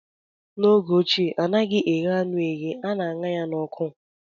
n'oge ochie anaghị eghe anụ eghe, a na aṅa ya n'ọkụ